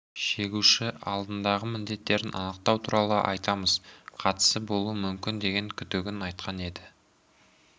шегуші алдындағы міндеттерін анықтау туралы айтамыз қатысы болуы мүмкін деген күдігін айтқан еді